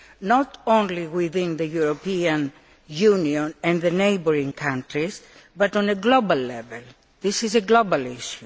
not only within the European Union and neighbouring countries, but at a global level. This is a global issue.